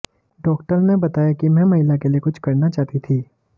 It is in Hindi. डॉ ने बताया कि मैं महिला के लिए कुछ करना चाहती थी